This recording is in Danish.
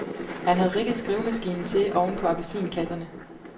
Han har rigget skrivemaskinen til oven på appelsinkasserne.